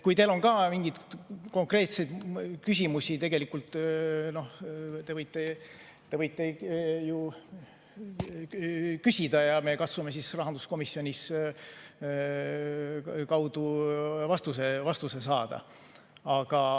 Kui teil on ka mingeid konkreetseid küsimusi, siis tegelikult te võite küsida ja me katsume rahanduskomisjoni kaudu vastuse saada.